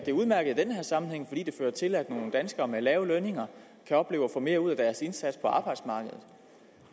udmærket i den her sammenhæng fordi det fører til at nogle danskerne med lave lønninger kan opleve at få mere ud af deres indsats på arbejdsmarkedet